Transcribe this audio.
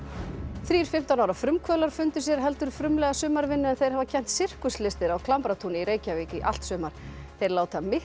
þrír fimmtán ára frumkvöðlar fundu sér heldur frumlega sumarvinnu en þeir hafa kennt sirkuslistir á Klambratúni í Reykjavík í allt sumar þeir láta mikla